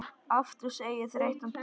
Aftur segir þreytan til sín.